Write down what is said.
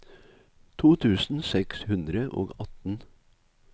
to tusen seks hundre og atten